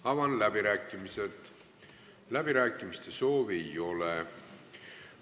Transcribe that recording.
Avan läbirääkimised, kõnesoove ei ole.